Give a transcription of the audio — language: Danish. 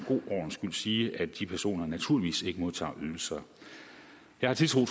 en sige at de personer naturligvis ikke modtager ydelser jeg har tiltro